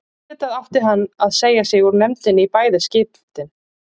Auðvitað átti hann að segja sig úr nefndinni í bæði skiptin.